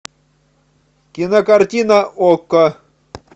кинокартина окко